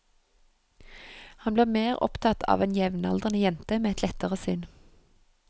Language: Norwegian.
Han blir mer opptatt av en jevnaldrende jente med et lettere sinn.